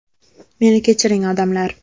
Meni kechiring, odamlar.